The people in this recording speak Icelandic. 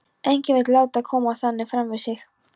Enginn vill láta koma þannig fram við sig.